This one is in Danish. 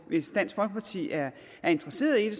hvis dansk folkeparti er interesseret i